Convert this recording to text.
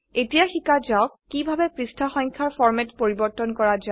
এতিয়া শিকা যাওক কিভাবে পৃষ্ঠা সংখ্যাৰ ফৰ্মেট পৰিবৰ্তন কৰা যায়